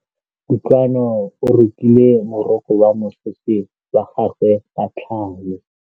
Kutlwanô o rokile morokô wa mosese wa gagwe ka tlhale.